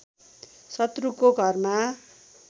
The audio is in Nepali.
शत्रुको घरमा